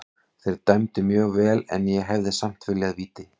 Þeir dæmdu mjög vel en ég hefði samt viljað víti.